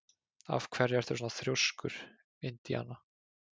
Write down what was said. Af hverju ertu svona þrjóskur, Indiana?